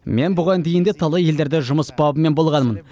мен бұған дейін де талай елдерде жұмыс бабымен болғанмын